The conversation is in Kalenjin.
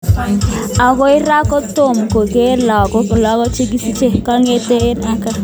Akoi raa kotom koker lagok log chikisiche, kongete kingeon eng kaa.